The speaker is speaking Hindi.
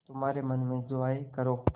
तुम्हारे मन में जो आये करो